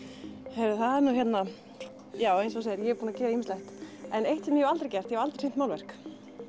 heyrðu það er nú hérna já eins og þú segir ég er búin að gera ýmislegt en eitt sem ég hef aldrei gert ég hef aldrei sýnt málverk